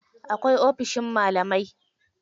Akwai ofishin malamai.